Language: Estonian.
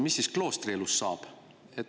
Mis siis kloostri elust saab?